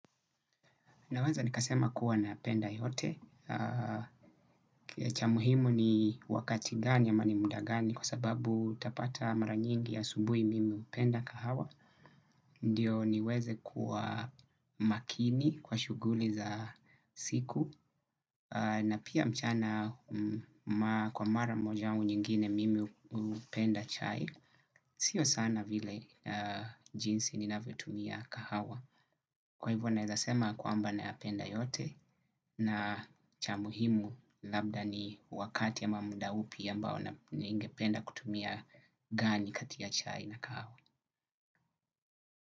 Naweza nikasema kuwa napenda yote, cha muhimu ni wakati gani ama ni muda gani kwa sababu utapata mara nyingi asubuhi mimi hupenda kahawa, ndio niweze kuwa makini kwa shughuli za siku, na pia mchana kwa mara moja au nyingine mimi hupenda chai, sio sana vile jinsi ninavyo tumia kahawa. Kwa hivyo naweza kusema kwamba nayapenda yote na cha muhimu labda ni wakati ama muda upi ambao ningependa kutumia gani kati ya chai na kahawa.